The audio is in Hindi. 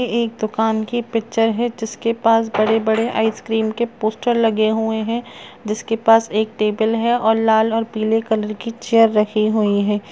ये एक दुकान की पिक्चर है जिसके पास बड़े-बड़े आइसक्रीम के पोस्टर लगे हुए हैं जिसके पास एक टेबल है और लाल और पिले कलर की चेयर रखी हुई है।